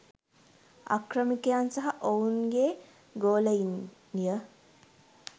ආක්‍රමිකයන් සහ ඔවුන්ගේ ගොලයින්ය